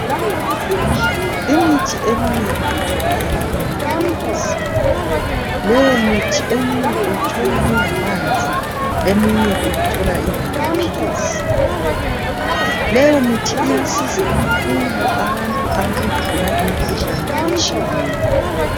Imithi eminengi itholakala ema famasi, leyo mithi uyithola ingamanzi, eminye uyithola ingamaphilisi. Leyo mithi iyasiza kakhulu abantu abagula imikhuhlane etshiyeneyo.